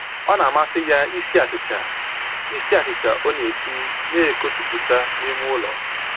Ọ na-amasị ya isi achịcha, isi achịcha ọ na-esi na-ekojuputa n'ime ụlọ